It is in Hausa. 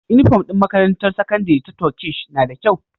Inufom din makarantar sakandari ta Turkish nada kyau